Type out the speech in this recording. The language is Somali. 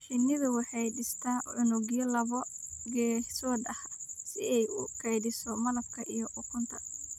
Shinnidu waxay dhistaa unugyo laba geesood ah si ay u kaydiso malabka iyo ukunta.